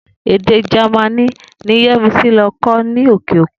Èdè Jamaní ni Yé̩misí lo̩ kó̩ ní òkè òkùn